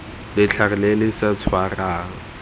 letlhare le le sa tshwarang